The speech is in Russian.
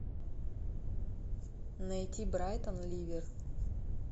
найти брайтон ливер